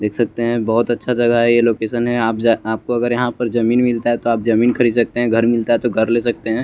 देख सकते हैं बहुत अच्छा जगह है यह लोकेशन है आप या आपको अगर यहां पर जमीन मिलता है तो आप जमीन खरीद सकते हैं घर मिलता है तो घर ले सकते हैं।